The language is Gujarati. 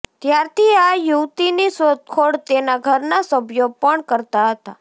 ત્યારથી આ યુવતીની શોધખોળ તેના ઘરના સભ્યો પણ કરતા હતા